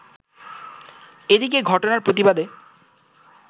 এদিকে ঘটনার প্রতিবাদে